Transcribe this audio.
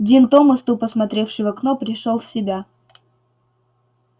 дин томас тупо смотревший в окно пришёл в себя